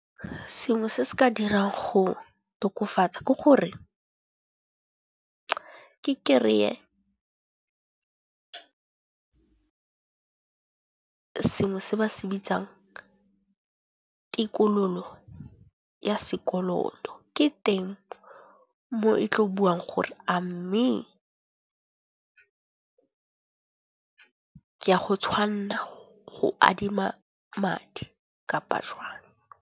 Sengwe se se ka dirang go tokafatsa, ke gore ke kry-e sengwe se ba se bitsang tikololo ya sekoloto. Ke teng mo e tlo buang gore a mme ke a go tshwanna go adima madi kapa jwang.